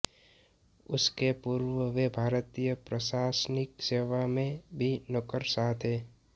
इसके पूर्व वे भारतीय प्रशासनिक सेवा में भी नौकरशाह थे